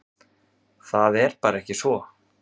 Það er bara ekki svo.